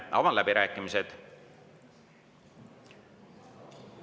Avan läbirääkimised.